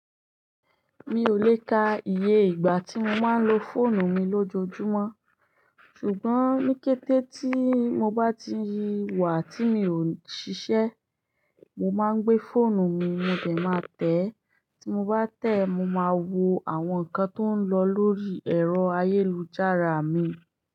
Mi ò lè ka iye ìgbà tí mo máa ń lo fóònù mi lójoojúmọ́, ṣùgbọ́n ní kété tí mo bá ti wà tí mi ò ń ṣiṣẹ́, mo máa ń gbé fóònù mi, mo de máa tẹ̀. Tí mo bá tẹ̀, mo máa wo àwọn nǹkan tó ń lọ lórí ẹ̀rọ ayélujára mi.